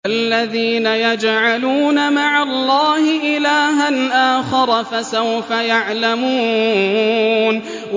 الَّذِينَ يَجْعَلُونَ مَعَ اللَّهِ إِلَٰهًا آخَرَ ۚ فَسَوْفَ يَعْلَمُونَ